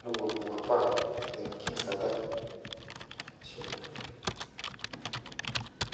ne wupiwupaa tenkini kata. Ashe oleng